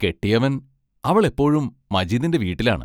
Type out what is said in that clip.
കെട്ടിയവൻ അവൾ എപ്പോഴും മജീദിന്റെ വീട്ടിലാണ്.